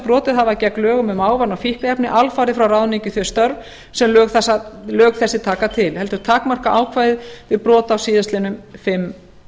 brotið hafa gegn lögum um ávana og fíkniefni alfarið frá ráðningu í þau störf sem lög þessi taka til heldur takmarka ákvæðið við brot á síðastliðnum fimm